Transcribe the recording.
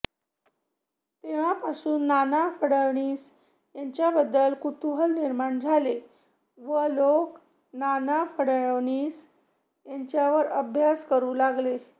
तेव्हापासून नाना फडणवीस यांच्याबद्दल कुतूहल निर्माण झाले व लोक नाना फडणवीस यांच्यावर अभ्यास करू लागले